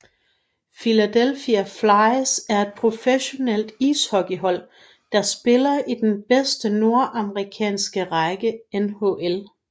Philadelphia Flyers er et professionelt ishockeyhold der spiller i den bedste nordamerikanske række NHL